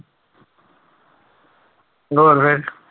ਹੋਰ ਫਿਰ